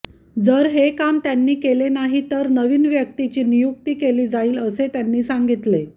जर हे काम त्यांनी केले नाही तर नवीन व्यक्तीची नियुक्ती केली जाईल असे त्यांनी सांगितले